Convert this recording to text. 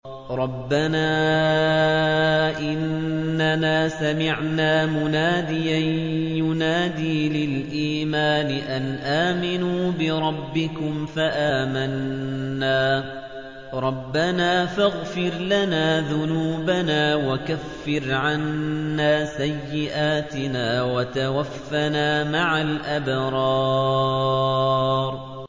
رَّبَّنَا إِنَّنَا سَمِعْنَا مُنَادِيًا يُنَادِي لِلْإِيمَانِ أَنْ آمِنُوا بِرَبِّكُمْ فَآمَنَّا ۚ رَبَّنَا فَاغْفِرْ لَنَا ذُنُوبَنَا وَكَفِّرْ عَنَّا سَيِّئَاتِنَا وَتَوَفَّنَا مَعَ الْأَبْرَارِ